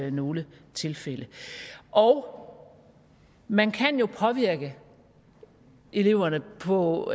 i nogle tilfælde og man kan jo påvirke eleverne på